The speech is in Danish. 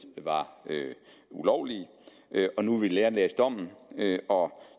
var ulovlige nu vil vi nærlæse dommen og